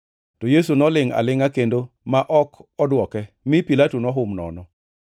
To Yesu nolingʼ alingʼa kendo ma ok odwoke, mi Pilato nohum nono.